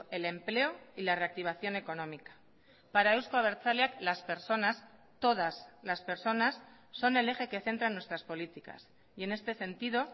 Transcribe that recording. el empleo y la reactivación económica para euzko abertzaleak las personas todas las personas son el eje que centran nuestras políticas y en este sentido